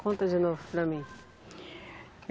Conta de novo para mim.